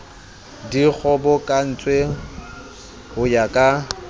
di kgobokantswe ho ya ka